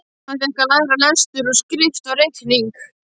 Hann fékk að læra lestur og skrift og reikning.